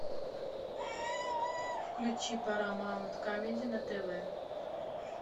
включи парамаунт камеди на тв